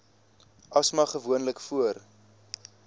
asma gewoonlik voor